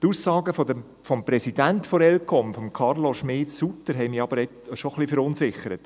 Die Aussagen des Präsidenten der ElCom, Carlo Schmid-Sutter, haben mich schon etwas verunsichert.